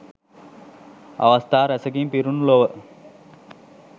අවස්ථා රැසකින් පිරුණු ලොව